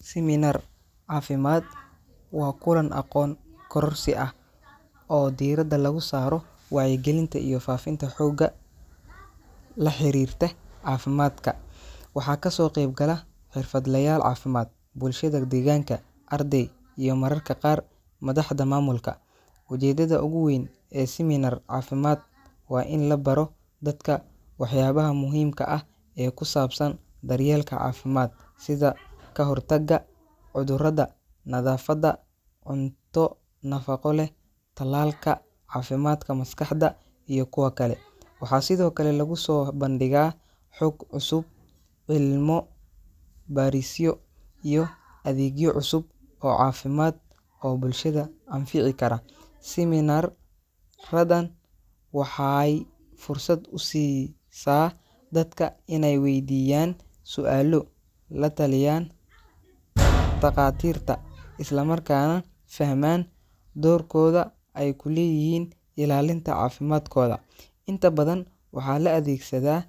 Seminar caafimaad waa kulan aqoon kororsi ah oo diiradda lagu saaro wacyigelinta iyo faafinta xooga la xiriirta caafimaadka. Waxaa kasoo qeyb gala xirfadlayaal caafimaad, bulshada deegaanka, arday, iyo mararka qaar madaxda maamulka. Ujeeddada ugu weyn ee seminar caafimaad waa in la baro dadka waxyaabaha muhiimka ah ee ku saabsan daryeelka caafimaad sida ka hortagga cudurrada, nadaafadda, cunto nafaqo leh, tallaalka, caafimaadka maskaxda iyo kuwa kale. Waxaa sidoo kale lagu soo bandhigaa xog cusub, cilmo-baarisyo, iyo adeegyo cusub oo caafimaad oo bulshada anfici kara. Seminar-radan waxaay fursad u siisaa dadka inay weydiiyaan su’aalo, la taliyaan dhakhaatiirta, isla markaana fahmaan doorkooda ay ku leeyihiin ilaalinta caafimaadkooda. Inta badan waxaa la adeegsadaa